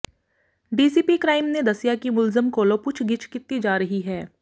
DCP crime ਨੇ ਦੱਸਿਆ ਕਿ ਮੁਲਜ਼ਮ ਕੋਲੋਂ ਪੁੱਛਗਿੱਛ ਕੀਤੀ ਜਾ ਰਹੀ ਹੈ